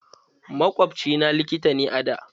Makwabci na likita ne a da.